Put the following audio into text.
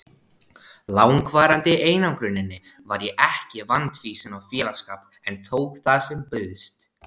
langvarandi einangruninni var ég ekki vandfýsin á félagsskap en tók það sem bauðst.